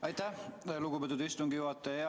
Aitäh, lugupeetud istungi juhataja!